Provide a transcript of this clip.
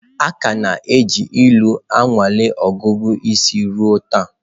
A ka na-eji ilu anwale ọgụgụ isi ruo taa.